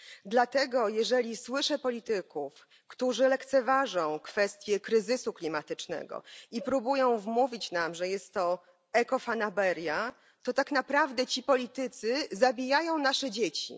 Dlatego gdy słyszę polityków, którzy lekceważą kwestię kryzysu klimatycznego i próbują wmówić nam, że jest to ekofanaberia, to tak naprawdę ci politycy zabijają nasze dzieci.